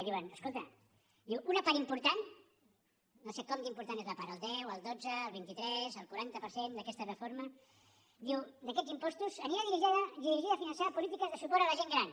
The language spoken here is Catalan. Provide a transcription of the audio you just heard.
i diuen escolta una part important no sé com d’important és la part el deu el dotze el vint tres el quaranta per cent d’aquesta reforma d’aquests impostos anirà dirigida a finançar polítiques de suport a la gent gran